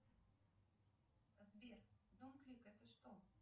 сбер дом клик это что